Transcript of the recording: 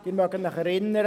Sie mögen sich erinnern: